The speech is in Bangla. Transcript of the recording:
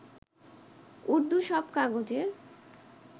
উর্দু সব কাগজের